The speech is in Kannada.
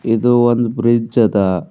ಇದು ಒಂದ ಬ್ರಿಡ್ಜ್ ಅದ.